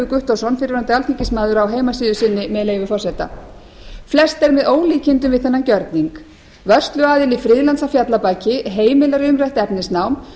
guttormsson fyrrverandi alþingismaður á heimasíðu sinni með leyfi forseta flest er með ólíkindum við þennan gerning vörsluaðili friðlands að fjallabaki heimilar umrætt efnisnám